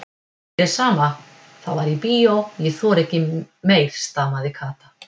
Mér er sama, það var í bíó, ég þori ekki meir stamaði Kata.